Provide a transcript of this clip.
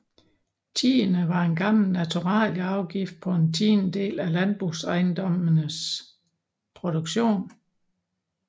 Tiende var en gammel naturalieafgift på en tiendedel af landbrugsejendommenes produktion